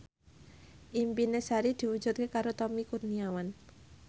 impine Sari diwujudke karo Tommy Kurniawan